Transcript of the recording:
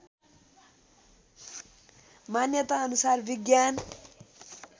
मान्यता अनुसार विज्ञान